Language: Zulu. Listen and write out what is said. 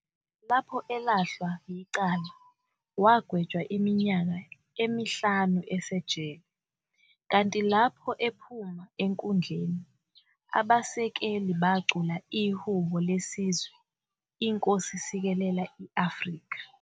Lapho elahlwa yicala, wagetshwa iminyaka emihlanu esejele, kanti lapho ephuma enkundleni, abasekeli bacula ihhubo lesizwe i-"Nkosi Sikelel iAfrika".